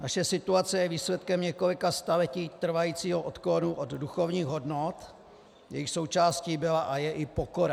Naše situace je výsledkem několika staletí trvajícího odklonu od duchovních hodnot, jejichž součástí byla a je i pokora.